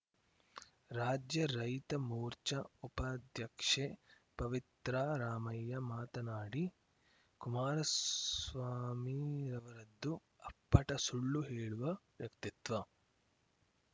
ರಾಜ್ಯ ರೈತ ಮೋರ್ಚಾ ಉಪಾಧ್ಯಕ್ಷೆ ಪವಿತ್ರಾ ರಾಮಯ್ಯ ಮಾತನಾಡಿ ಕುಮಾರಸ್ವಾಮಿರವರದ್ದು ಅಪ್ಪಟ ಸುಳ್ಳು ಹೇಳುವ ವ್ಯಕ್ತಿತ್ವ